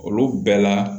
Olu bɛɛ la